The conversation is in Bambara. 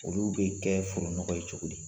Olu bɛ kɛ foro nɔgɔ ye cogo di?